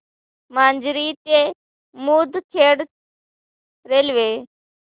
माजरी ते मुदखेड रेल्वे